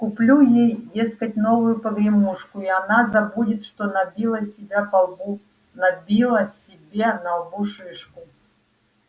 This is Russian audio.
куплю ей дескать новую погремушку и она забудет что набила себя по лбу набила себе на лбу шишку